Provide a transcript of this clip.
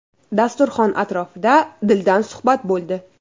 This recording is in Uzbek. Dasturxon atrofida dildan suhbat bo‘ldi .